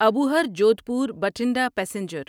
Abohar Jodhpur Bathinda passenger